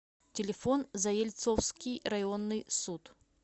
телефон заельцовский районный суд